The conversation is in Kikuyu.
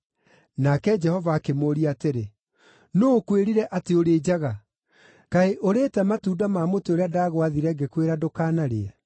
Nake Jehova akĩmũũria atĩrĩ, “Nũũ ũkwĩrire atĩ ũrĩ njaga? Kaĩ ũrĩĩte matunda ma mũtĩ ũrĩa ndagwaathire ngĩkwĩra ndũkanaũrĩe?”